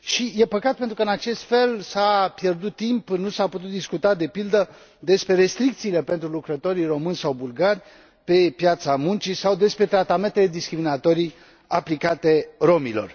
E păcat, pentru că în acest fel s a pierdut timp, nu s a putut discuta de pildă despre restricțiile pentru lucrătorii români sau bulgari pe piața muncii sau despre tratamentele discriminatorii aplicate romilor.